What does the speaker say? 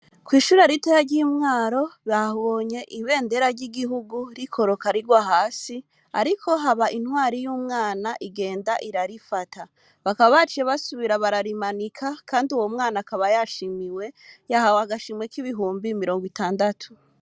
Kw'iishuri ritoyi ry'i Mwaro babonye ibendera ry'igihugu rikoroka rigwa hasi ariko haba intwari y'umwana igenda irarifata. Bakaba baciye basubira bararimanika kandi uwo mwana akaba yashimiwe, yahawe agashimwe k'ibihumbi mirongo itandatu.